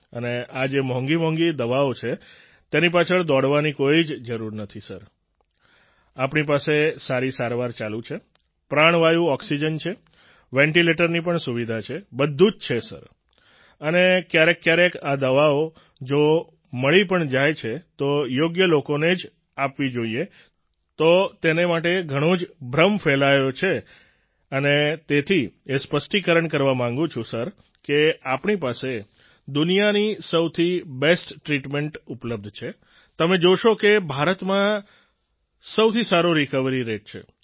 અને આ જે મોંઘી મોંઘી દવાઓ છે તેની પાછળ દોડવાની કોઈ જ જરૂર નથી સર આપણી પાસે સારી સારવાર ચાલુ છે પ્રાણવાયુ ઓક્સિજન છે વેન્ટિલેટરની પણ સુવિધા છે બધું જ છે સર અને ક્યારેક ક્યારેક આ દવાઓ જો મળી પણ જાય છે તો યોગ્ય લોકોને જ આપવી જોઈએ તો તેને માટે ઘણો જ ભ્રમ ફેલાયેલો છે અને તેથી એ સ્પષ્ટિકરણ કરવા માંગુ છું સર કે આપણી પાસે દુનિયાની સૌથી બેસ્ટ ટ્રિટમેન્ટ ઉપલબ્ધ છે તમે જોશો કે ભારતમાં સૌથી સારો રિકવરી રેટ છે